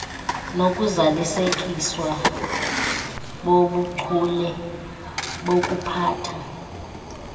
nokuzalisekiswa bobuchule bokuphatha